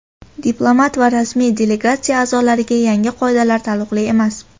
Diplomat va rasmiy delegatsiya a’zolariga yangi qoidalar taalluqli emas.